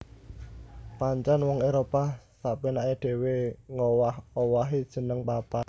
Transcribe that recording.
Pancèn wong Éropah sapénaké dhéwé ngowah owahi jeneng papan